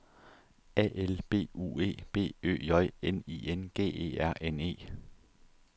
A L B U E B Ø J N I N G E R N E